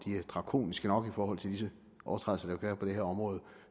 er drakoniske nok i forhold til disse overtrædelser være på det her område